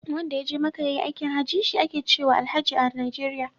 Wanda ya je maka ya yi aikin haji, shi ake cewa Alhaji a Najeriya.